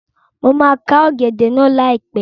Mo máa ká ọ̀gẹ̀dẹ̀ náà láìpẹ́